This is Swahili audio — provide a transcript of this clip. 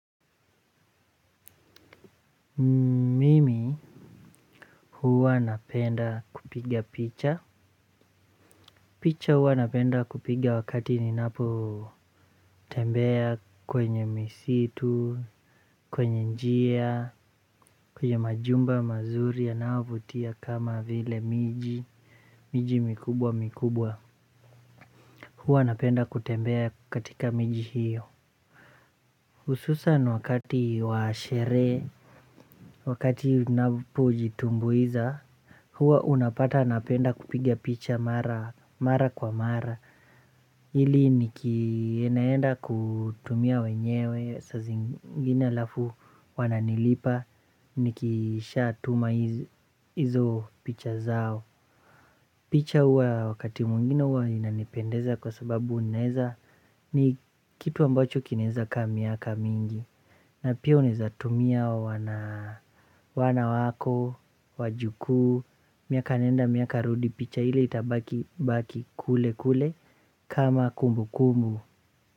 Mimi huwa napenda kupiga picha picha huwa napenda kupiga wakati ninapotembea kwenye misitu kwenye njia kwenye majumba mazuri anayovutia kama vile miji miji mikubwa mikubwa huwa napenda kutembea katika miji hiyo hususan wakati wa sherehe wakati napojitumbuiza huwa unapata napenda kupiga picha mara. Mara kwa mara ili nikinaenda kutumia wenyewe saa zingine alafu wananilipa. Nikishatuma hizo picha zao. Picha huwa wakati mwingine huwa zinanipendeza. Kwa sababu unaweza. Ni kitu ambacho kinaweza kaa miaka mingi. Na pia unaweza tumia wana wako. Wajukuu. Miaka nenda miaka rudi picha ile itabaki kule kule. Kama kumbukumbu.